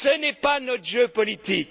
Ce n'est pas notre jeu politique.